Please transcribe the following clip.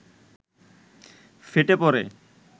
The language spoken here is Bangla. ফেটে পড়ে